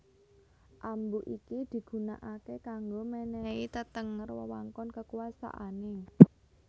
Ambu iki digunakake kanggo menehi tetenger wewengkon kekuasaane